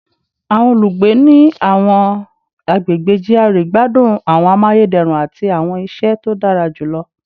Awọn olugbe ni awọn agbegbe GRA gbadun awọn amayederun ati awọn iṣẹ to dara julọ